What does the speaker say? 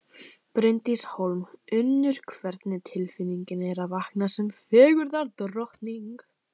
Bryndís Hólm: Unnur, hvernig tilfinning er að vakna sem fegurðardrottning?